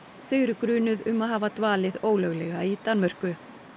þau eru grunuð um að hafa dvalið ólöglega í Danmörku